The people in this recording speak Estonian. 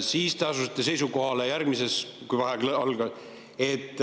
Siis te asusite seisukohale, enne kui vaheaeg algas, et